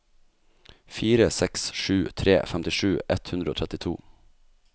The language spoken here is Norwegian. fire seks sju tre femtisju ett hundre og trettito